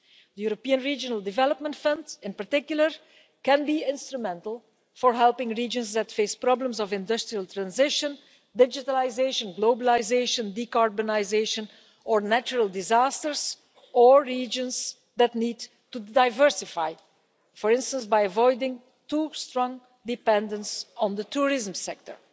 The European Regional Development Fund in particular can be instrumental in helping regions that face problems of industrial transition, digitalisation, globalisation, decarbonisation natural disasters or regions that need to diversify for instance, by avoiding too strong a dependence on the tourism sector.